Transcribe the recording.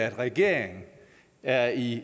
at regeringen er i